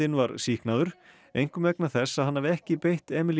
var sýknaður einkum vegna þess að hann hafi ekki beitt